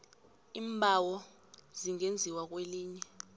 iimbawo zingenziwa kwelinye